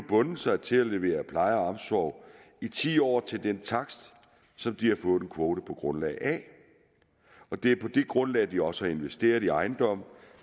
bundet sig til at levere pleje og omsorg i ti år til den takst som de har fået en kvote på grundlag af og det er på det grundlag de også har investeret i ejendomme